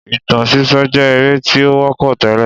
Ìtàn sísọ jé eré tí ó wọ́pọ̀ tẹ́lẹ̀